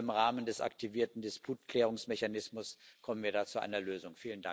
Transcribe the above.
Ich hoffe, im Rahmen des aktivierten Disputklärungsmechanismus kommen wir da zu einer Lösung.